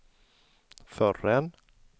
förrän